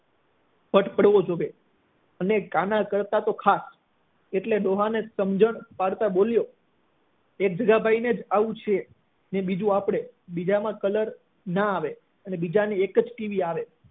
વટ પડવો જોઈએ અને કાના કરતા તો ખાસ એટલે ડોહા ને સમજણ પાડતા બોલ્યો એ જગ્ગાભાઈ ને આવું જ છે અને બીજું આપણે બીજામાં colour ના આવે અને બીજા ને એક જ ટીવી આવે